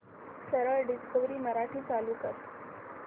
सरळ डिस्कवरी मराठी चालू कर